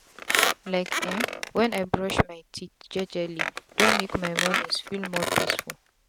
like eh even wen i brush my teeth jejeli don make my mornins feel more peaceful.